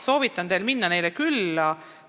Soovitan teil neile külla minna.